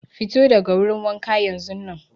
Fito daga wurin waha yanzunnan.